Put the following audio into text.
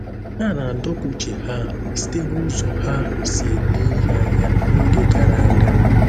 A na-adọpụ uche ha site n’ụzọ ha si ele ihe anya n’oge gara aga.